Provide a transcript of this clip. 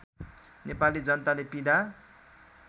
नेपाली जनताले पीडा